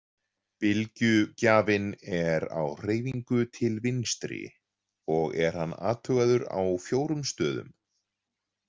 Bylgjugjafinn er á hreyfingu til vinstri og er hann athugaður á fjórum stöðum.